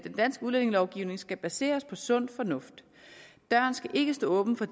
danske udlændingelovgivning skal baseres på sund fornuft døren skal ikke stå åben for